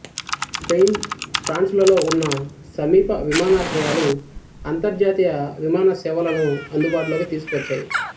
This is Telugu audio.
స్పెయిన్ ఫ్రాన్సులలో ఉన్న సమీప విమానాశ్రయాలు అంతర్జాతీయ విమానసేవలను అందుబాటులోకి తీసుకువచ్చాయి